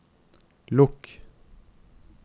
lukk